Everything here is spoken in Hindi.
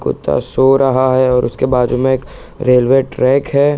कुत्ता सो रहा है और उसके बाजु में एक रेलवे ट्रैक है।